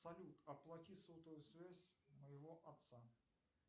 салют оплати сотовую связь моего отца